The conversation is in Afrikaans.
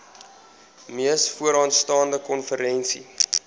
mees vooraanstaande konferensie